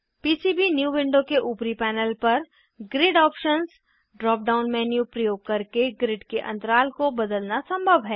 PCB new window के ऊपरी panel पर grid options drop down menu प्रयोग करके ग्रिड के अंतराल को बदलना संभव है